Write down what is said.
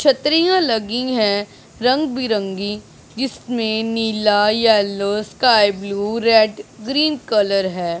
छतरियां लगी हैं रंग बिरंगी जिसमें नीला yellow sky blue red green colour है।